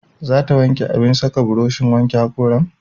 Za ta wanke abin saka burushin wanke haƙoran?